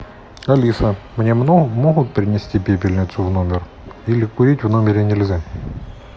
алиса мне могут принести пепельницу в номер или курить в номере нельзя